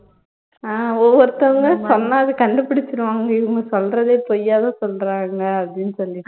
அஹ் ஒவ்வொருத்தவங்க சொன்னா அத கண்டுபிடிச்சுருவாங்க இவங்க சொல்றதே பொய்யாதான் சொல்றாங்க அப்ப்டின்னு சொல்லிட்டு